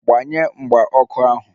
Gbanye mgba ọkụ ahu!